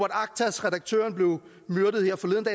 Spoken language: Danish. aktas redaktøren blev myrdet her forleden